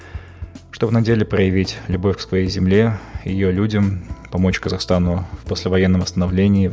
чтоб на деле проявить любовь к своей земле ее людям помочь қазахстану послевоенному восстановлению